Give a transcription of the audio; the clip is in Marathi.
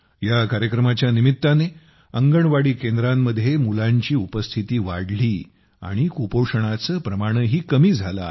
या कार्यक्रमाच्या निमित्ताने अंगणवाडी केंद्रांमध्ये मुलांची उपस्थिती वाढली आणि कुपोषणाचे प्रमाणही कमी झाले आहे